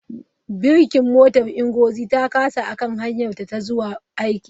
Birkin motar Ngozi ta kasa a kan hanyarta ta zuwa aiki.